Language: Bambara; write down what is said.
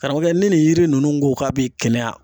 Karamɔgɔkɛ ni nin yiri nunnu ko k'a bi kɛnɛya